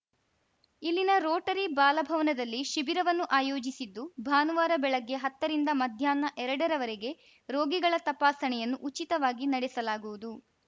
ಇಲ್ಲಿನ ರೋಟರಿ ಬಾಲಭವನದಲ್ಲಿ ಶಿಬಿರವನ್ನು ಆಯೋಜಿಸಿದ್ದು ಭಾನುವಾರ ಬೆಳಗ್ಗೆ ಹತ್ತ ರಿಂದ ಮಧ್ಯಾಹ್ನ ಎರಡರವರೆಗೆ ರೋಗಿಗಳ ತಪಾಸಣೆಯನ್ನು ಉಚಿತವಾಗಿ ನಡೆಸಲಾಗುವುದು